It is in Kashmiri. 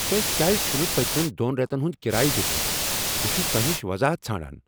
تۄہہ کیٛاز چھنہٕ پٔتمین دۄن ریتن ہُند کرایہ دیُتمت؟ بہٕ چھس تۄہہ نشہ وضاحت ژھاران۔